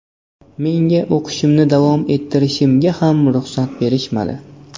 Menga o‘qishimni davom ettirishga ham ruxsat berishmadi.